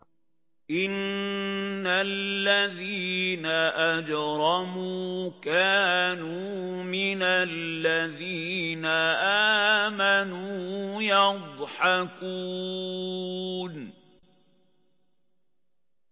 إِنَّ الَّذِينَ أَجْرَمُوا كَانُوا مِنَ الَّذِينَ آمَنُوا يَضْحَكُونَ